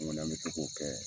An kɔni an bɛ se k'o kɛ.